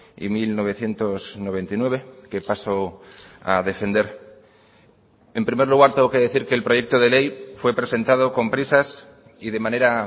y mil novecientos noventa y nueve que paso a defender en primer lugar tengo que decir que el proyecto de ley fue presentado con prisas y de manera